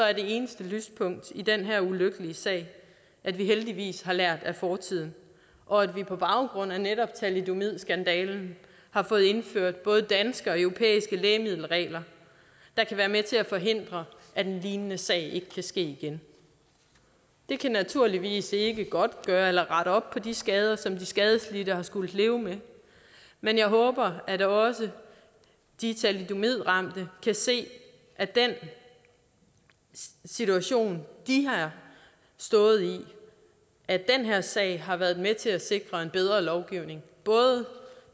er det eneste lyspunkt i den her ulykkelige sag at vi heldigvis har lært af fortiden og at vi på baggrund af netop thalidomidskandalen har fået indført både danske og europæiske lægemiddelregler der kan være med til at forhindre at en lignende sag kan ske igen det kan naturligvis ikke godtgøre eller rette op på de skader som de skadelidte har skullet leve med men jeg håber at også de thalidomidramte kan se at den situation de har stået i og at den her sag har været med til at sikre en bedre lovgivning